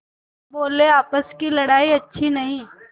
बोलेआपस की लड़ाई अच्छी नहीं